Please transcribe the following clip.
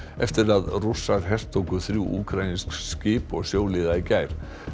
eftir að Rússar hertóku þrjú úkraínsk skip og sjóliða í gær